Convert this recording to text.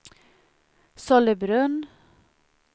Sollebrunn